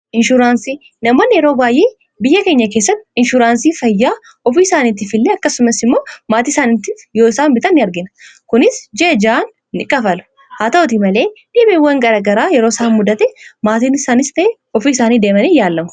inshuraansii namoonni yeroo waayyee biyya keenya keessatti inshuraansii fayyaa ofii isaaniitti fillee akkasumas immoo maatii isaaniitti yosan bita ni argina kunis jjaan ni qafalu haa ta'uti malee dhiibiiwwan garagaraa yerooisaa muddate maatiin saaniste ofii isaanii deemanii yaallamu